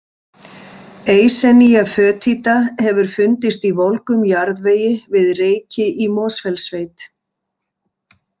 Eisenia foetida hefur fundist í volgum jarðvegi við Reyki í Mosfellssveit.